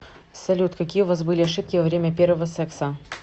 салют какие у вас были ошибки во время первого секса